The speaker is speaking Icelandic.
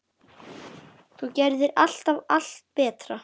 Þú gerðir alltaf allt betra.